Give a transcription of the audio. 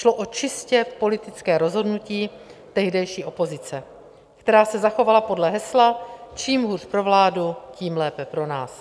Šlo o čistě politické rozhodnutí tehdejší opozice, která se zachovala podle hesla čím hůř pro vládu, tím lépe pro nás.